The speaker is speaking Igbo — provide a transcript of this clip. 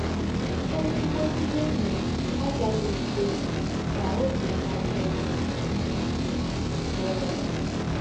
“ Ezịgbọ ndị enyi agaghị ekwe ka ọbi na - ajọ gị njọ. ”— Donnell.